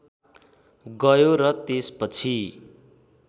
गयो र त्यसपछि